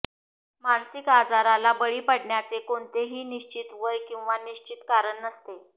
मानसिक आजाराला बळी पडण्याचे कोणतेही निश्चित वय किंवा निश्चित कारण नसते